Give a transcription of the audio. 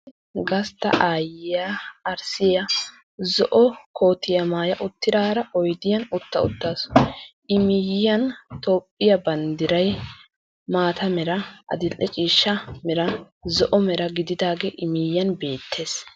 Gastta ayiya arssiya zo"o kootiya maaya uttidaara oydiyan utta uttaasu. I miyiyan Toophphiya banddiray maataa mera, adil"e ciishshaa mera zo"o mera gididagee I miyiyan beettees.